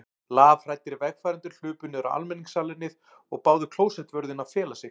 Lafhræddir vegfarendur hlupu niður á almenningssalernið og báðu klósettvörðinn að fela sig.